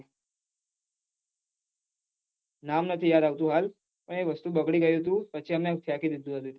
નામ નથી યાદ આવતું હાલ પન એ વસ્તુ બગડી હતી પછી તેને ફેકી દીઘી હતી